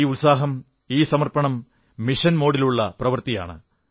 ഈ ഉത്സാഹം ഈ സമർപ്പണം മിഷൻ മോഡിലുള്ള പ്രവൃത്തിയാണ്